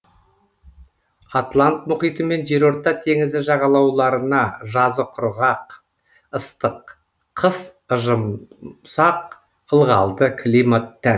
атлант мұхиты мен жерорта теңізі жағалауларына жазы құрғақ ыстық қыс ыжымсақ ылғалды климат тән